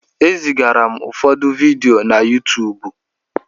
E zigara m ụfọdụ vidiyo na Yuutuubu.